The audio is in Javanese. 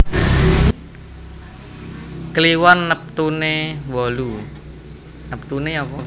Kliwon neptune wolu